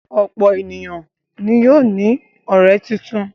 Ọ̀pọ̀ ènìyàn ni yóò ní ọ̀rẹ́ tuntun.